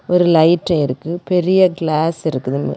ஒரு லைட் இருக்கு பெரிய கிளாஸ் இருக்குது.